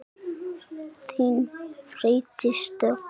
Þín, Freydís Dögg.